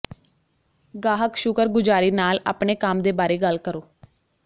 ਗਾਹਕ ਸ਼ੁਕਰਗੁਜ਼ਾਰੀ ਨਾਲ ਆਪਣੇ ਕੰਮ ਦੇ ਬਾਰੇ ਗੱਲ ਕਰੋ